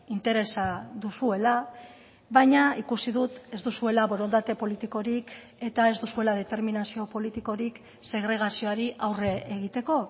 interesa duzuela baina ikusi dut ez duzuela borondate politikorik eta ez duzuela determinazio politikorik segregazioari aurre egiteko